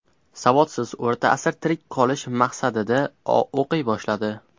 Savodsiz O‘rta asr tirik qolish maqsadida o‘qiy boshladi.